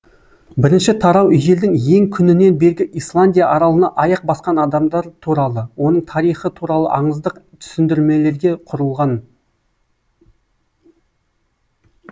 бірінші тарау ежелдің ең күнінен бергі исландия аралына аяқ басқан адамдар туралы оның тарихы туралы аңыздық түсіндірмелерге құрылған